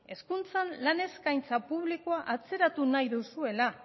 hezkuntzan lan eskaintza publikoa atzeratu nahi duzuela